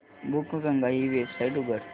बुकगंगा ही वेबसाइट उघड